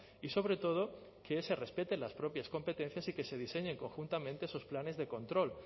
y sobre todo que se respeten las propias competencias y que se diseñe conjuntamente esos planes de control